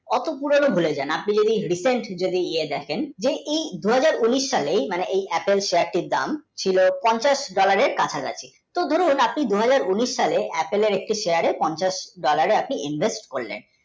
আপনি দেখেন weekly দুই হাজার উনিশ সালে এই Apple, pack এর দাম ছিল পঞ্চাশ dollar এর কাছা কাছি যদি আপনি দু হাজার উনিশ সালে Apple এর একটা share এ আপনি invest করলেন।